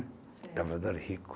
Lavrador rico.